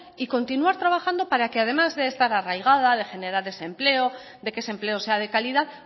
y continuar trabajando para que además de estar arraigada de generar desempleo de que ese empleo sea de calidad